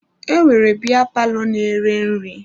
E nwere biya palọ na-ere nri.